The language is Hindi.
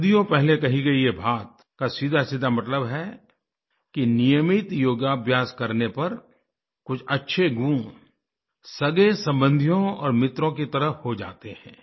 सदियों पहले ये कही गई बात का सीधासीधा मतलब है कि नियमित योगा अभ्यास करने पर कुछ अच्छे गुण सगेसम्बन्धियों और मित्रों की तरह हो जाते हैं